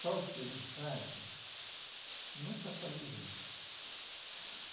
Só que em casa, nunca